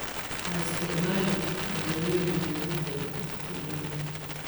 Ha isticmaalin cuntooyinka laga tagay wakhti dheer.